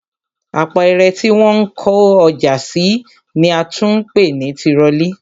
Apẹ̀rẹ̀ tí wọ́n ń kó ọjà sí ni a tún ń pè ní tirọlí